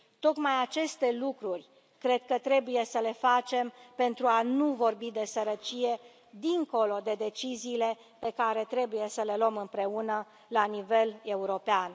Tocmai aceste lucruri cred că trebuie să le facem, pentru a nu vorbi de sărăcie, dincolo de deciziile pe care trebuie să le luăm împreună, la nivel european.